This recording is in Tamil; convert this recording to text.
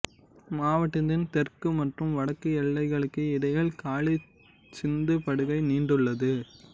மாவட்டத்தின் தெற்கு மற்றும் வடக்கு எல்லைகளுக்கு இடையில் காளி சிந்து படுகை நீண்டுள்ளது